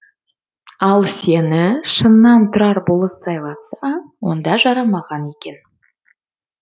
ал сені шыннан тұрар болыс сайлатса онда жарамаған екен